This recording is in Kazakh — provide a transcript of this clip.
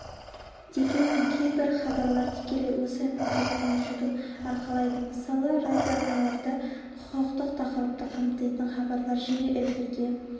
дегенмен кейбір хабарлар тікелей осы міндеттің жүгін арқалайды мысалы радиоарналарда құқықтық тақырыпты қамтитын хабарлар жиі эфирге